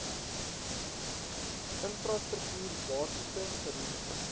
infrastruktuur basiese geriewe